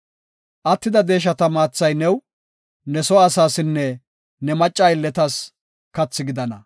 Attida deeshata maathay new, ne soo asaasinne ne macca aylletas kathi gidana.